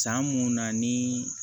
San mun na ni